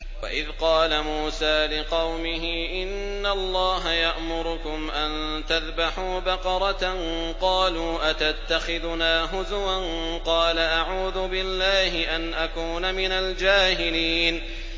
وَإِذْ قَالَ مُوسَىٰ لِقَوْمِهِ إِنَّ اللَّهَ يَأْمُرُكُمْ أَن تَذْبَحُوا بَقَرَةً ۖ قَالُوا أَتَتَّخِذُنَا هُزُوًا ۖ قَالَ أَعُوذُ بِاللَّهِ أَنْ أَكُونَ مِنَ الْجَاهِلِينَ